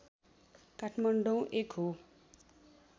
काठमाडौँ एक हो